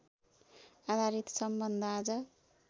आधारित सम्बन्ध आज